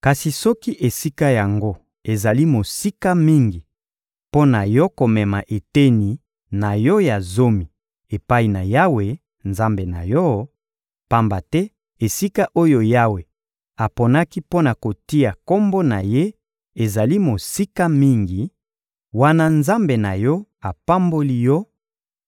Kasi soki esika yango ezali mosika mingi mpo na yo komema eteni na yo ya zomi epai na Yawe, Nzambe na yo, pamba te esika oyo Yawe aponaki mpo na kotia Kombo na Ye ezali mosika mingi, wana Nzambe na yo apamboli yo,